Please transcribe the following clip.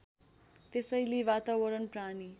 त्यसैले वातावरण प्राणी